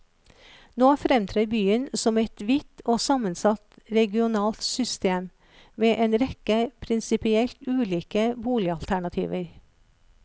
Nå fremtrer byen som et vidt og sammensatt regionalt system, med en rekke prinsipielt ulike boligalternativer.